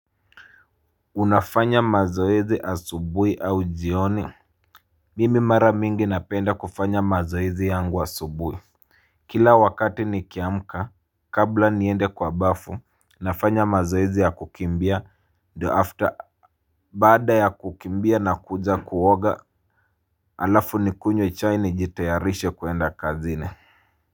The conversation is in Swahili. Unafanya mazoezi asubuhi au jioni? Mimi mara mingi napenda kufanya mazoezi yangu asubuhi. Kila wakati nikiamka kabla niende kwa bafu nafanya mazoezi ya kukimbia after baada ya kukimbia nakuja kuoga halafu nikunywe chai nijitayarishe kuenda kazini.